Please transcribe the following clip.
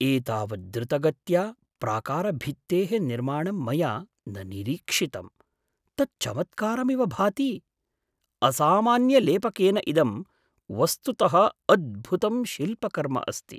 एतावत् द्रुतगत्या प्राकारभित्तेः निर्माणं मया न निरीक्षितम्, तत् चमत्कारमिव भाति! असामान्यलेपकेन इदं वस्तुतः अद्भुतं शिल्पकर्म अस्ति।